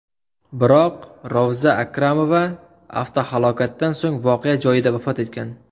Biroq Rovza Akramova avtohalokatdan so‘ng voqea joyida vafot etgan.